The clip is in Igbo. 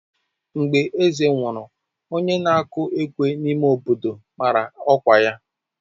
Mgbe eze nwụrụ, onye na-akụ ekwe n'ime obodo mara ọkwa ya.